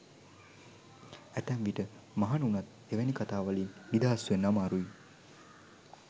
ඇතැම් විට මහණ වුණත් එවැනි කතා වලින් නිදහස් වෙන්න අමාරුයි.